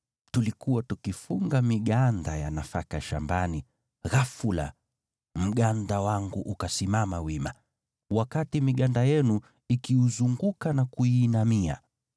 Tulikuwa tukifunga miganda ya nafaka shambani, ghafula mganda wangu ukasimama wima, wakati miganda yenu ikiuzunguka na kuuinamia.”